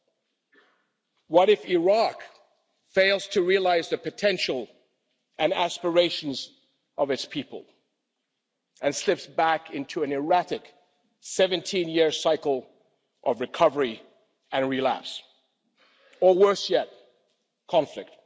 what if Iraq fails to realise the potential and aspirations of its people and slips back into an erratic, 17 year cycle of recovery and relapse or worse yet, conflict?